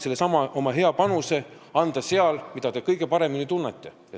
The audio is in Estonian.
Te saate oma hea panuse anda sellel alal, mida te kõige paremini tunnete.